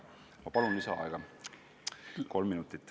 Ma palun kolm minutit lisaaega!